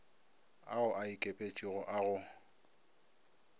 ao a ikepetšego a go